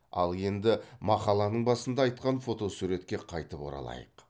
ал енді мақаланың басында айтқан фотосуретке қайтып оралайық